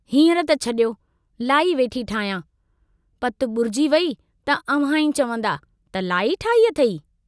हींअर त छड़ियो, लाई वेठी ठाहियां, पत बूरजी वेई त अव्हां ई चवन्दा त लाई ठाही अथेई?